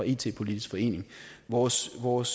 it politisk forening vores vores